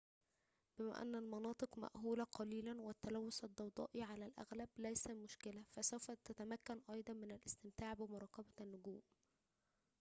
بما أن المناطق مأهولة قليلاً والتلوث الضوئي على الأغلب ليس مشكلة فسوف تتمكن أيضاً من الاستمتاع بمراقبة بالنجوم